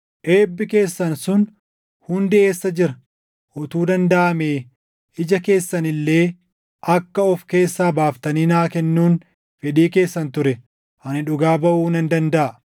Eebbi keessan sun hundi eessa jira? Utuu dandaʼamee ija keessan illee akka of keessaa baaftanii naa kennuun fedhii keessan ture ani dhugaa baʼuu nan dandaʼa.